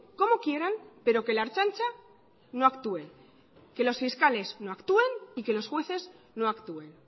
como quieran pero que la ertzaintza no actúe que los fiscales no actúen y que los jueces no actúen